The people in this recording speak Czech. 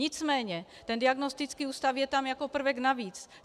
Nicméně ten diagnostický ústav je tam jako prvek navíc.